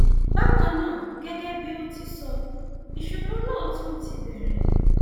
bákan náà gẹgẹ bí o ti sọ ìṣòro náà tún ti bẹrẹ